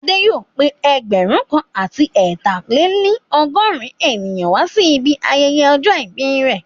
Adé yóò pé ẹgbẹ̀rún kan àti ẹ ta-lè-ní-ọgọ́rin ènìyàn wá sí ibi ayẹyẹ ọjọ́ ìbí rẹ̀